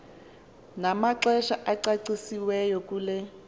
namaxesha acacisiweyo kule